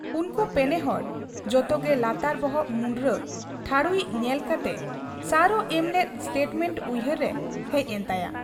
ᱩᱱᱠᱩ ᱯᱮᱱᱮ ᱦᱚᱲ ᱡᱚᱛᱚᱜᱮ ᱞᱟᱛᱟᱨ ᱵᱚᱦᱚᱜ ᱢᱩᱸᱰᱨᱟᱹ ᱴᱷᱟᱹᱲᱩᱭᱤᱡ ᱧᱮᱞ ᱠᱟᱛᱮ ᱥᱟᱨᱚ ᱮᱢᱞᱮᱫ ᱥᱴᱮᱴᱢᱮᱸᱴ ᱩᱭᱦᱟᱹᱨ ᱨᱮ ᱦᱮᱡ ᱮᱱ ᱛᱟᱭᱟ ᱾